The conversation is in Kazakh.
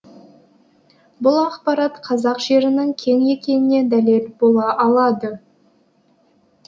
бұл ақпарат қазақ жерінің кең екеніне дәлел бола алады